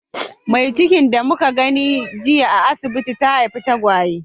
Mai cikin da muka gani a asibiti jiya, ta haifi tagwaye.